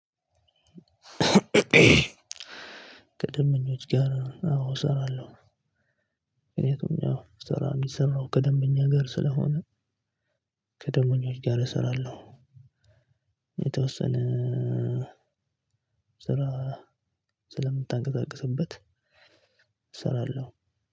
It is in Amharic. ከደምበኞች ጋር አዎ እሰራለሁ። ምክንያቱም ያው ስራ የሚሰራው ከደምበኛ ጋር ስለሆነ። ከደመኞች ጋር እሰራለሁ። የተወሰነ ስራ ስለምታንቀሳቅስበት እሰራለሁ።